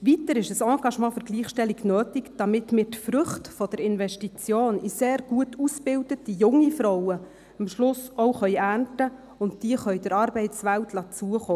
Weiter ist ein Engagement für die Gleichstellung nötig, damit wir die Früchte der Investition in sehr gut ausgebildete junge Frauen am Schluss auch ernten und sie der Arbeitswelt zukommen lassen können.